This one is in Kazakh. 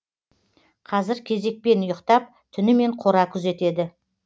қазір кезекпен ұйықтап түнімен қора күзетеді